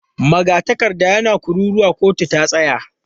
Magatakarda yana kururuwa 'kotu ta tsaya!'